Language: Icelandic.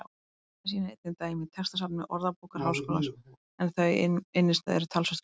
Það sýna einnig dæmi í textasafni Orðabókar Háskólans en þau um innstæðu eru talsvert fleiri.